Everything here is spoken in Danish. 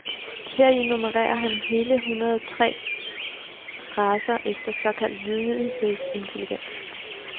Heri nummererer han hele hundrede tre racer efter såkaldt lydighedsintelligens.